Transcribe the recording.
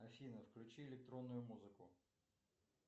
афина включи электронную музыку